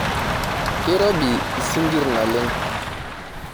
Keirobi isinkirr naleng.